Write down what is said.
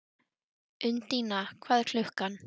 Undína, hvað er klukkan?